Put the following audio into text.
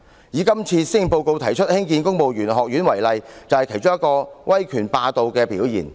以今次施政報告提出興建公務員學院為例，便是其中一個威權霸道的表現。